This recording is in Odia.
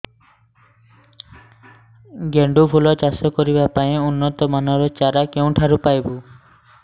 ଗେଣ୍ଡୁ ଫୁଲ ଚାଷ କରିବା ପାଇଁ ଉନ୍ନତ ମାନର ଚାରା କେଉଁଠାରୁ ପାଇବୁ